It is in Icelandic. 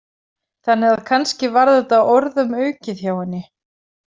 Þannig að kannski var þetta orðum aukið hjá henni.